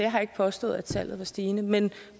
har ikke påstået at tallet er stigende men